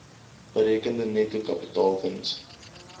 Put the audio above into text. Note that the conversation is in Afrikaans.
berekende netto kapitaalwins